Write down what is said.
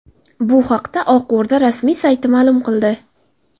Bu haqda Oq O‘rda rasmiy sayti ma’lum qildi .